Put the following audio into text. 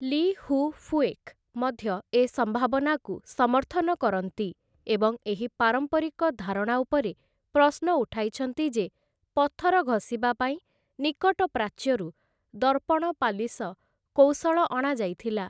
ଲି ହୁ ଫୁଏକ୍ ମଧ୍ୟ ଏ ସମ୍ଭାବନାକୁ ସମର୍ଥନ କରନ୍ତି ଏବଂ ଏହି ପାରମ୍ପରିକ ଧାରଣା ଉପରେ ପ୍ରଶ୍ନ ଉଠାଇଛନ୍ତି, ଯେ ପଥର ଘଷିବା ପାଇଁ ନିକଟ ପ୍ରାଚ୍ୟରୁ ଦର୍ପଣ-ପାଲିଶ କୌଶଳ ଅଣାଯାଇଥିଲା ।